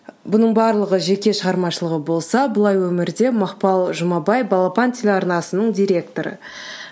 бұның барлығы жеке шығармашылығы болса бұлай өмірде мақпал жұмабай балапан телеарнасының директоры